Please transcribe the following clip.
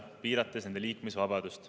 See piirab nende liikumisvabadust.